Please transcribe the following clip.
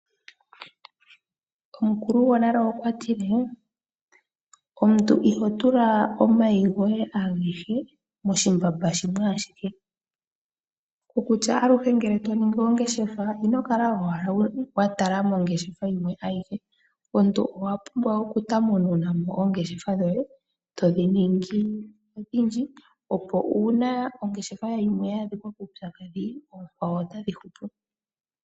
Omukulu gonale okwa tile: omuntu iho tula omayi goye agehe moshimbamba shimwe ashike, mokutya ngele to ningi ongeshefa ino kala watala owala mongeshefa oyo ayike, omuntu okwa pumbwa ngaa oku tanununa mo oongeshefa dhoye, todhi ningi odhindji opo uuna ongeshefa yoye yimwe yaadhika kuutsakadhi ookwawo otadhi hupu.